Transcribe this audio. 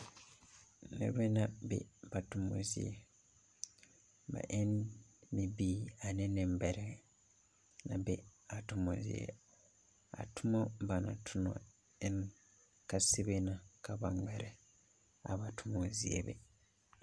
Nebɛ na be ba tomo zie. Ba en bibiir ane nebɛrɛ a bɛ a tomo zie. A tomo ba na tona en kasebɛ na ka ba ŋmɛrɛ a ba tomo zie be